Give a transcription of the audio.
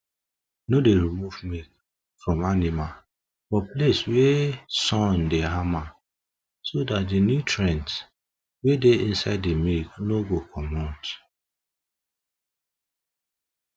no dey remove milk from animal for place wey sun dey hama so dat the nutrients wey dey inside the milk no go comot